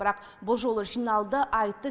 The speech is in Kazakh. бірақ бұл жолы жиналды айтты